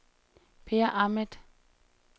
Peer Ahmed